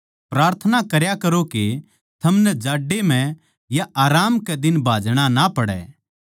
प्रार्थना करया करो के थमनै जाड्डै म्ह या आराम कै दिन भाजणा ना पड़ै